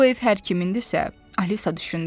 Bu ev hər kimindirsə, Alisa düşündü.